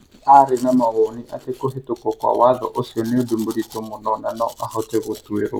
Aarĩ na mawoni atĩ kũhĩtũkwo kwa Watho ũcio nĩ ũndũ mũritũ mũno na no ahote gũtuĩrũo.